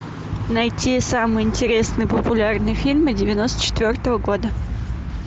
найти самые интересные популярные фильмы девяносто четвертого года